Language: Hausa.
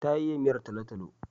Ta iya miyar talo-talo.